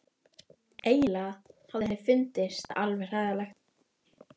Eiginlega hafði henni fundist það alveg hræðilegt.